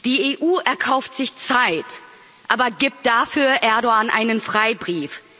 Die EU erkauft sich Zeit aber gibt dafür Erdoğan einen Freibrief.